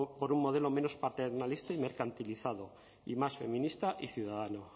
por un modelo menos paternalista y mercantilizado y más feminista y ciudadano